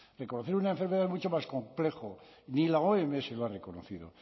reconocer una enfermedad es mucho más complejo ni la oms lo ha reconocido